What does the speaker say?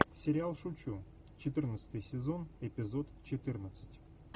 сериал шучу четырнадцатый сезон эпизод четырнадцать